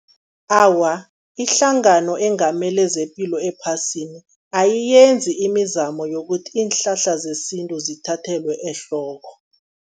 Awa, ihlangano engamele zepilo ephasini ayiyenzi imizamo yokuthi iinhlahla zesintu zithathelwe ehloko.